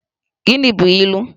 Gịnị bụ ilu?